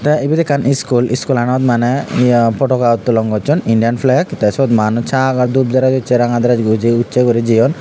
the ibet ekkan school school anot Mane potoka uttolon gochun Indian flag the sut manuj sagor dhup dress uche ranga dress uchi guri jeyun.